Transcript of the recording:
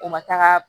U ma taga